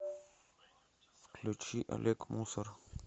включи олег мусор